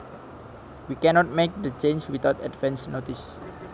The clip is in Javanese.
We cannot make the changes without advance notice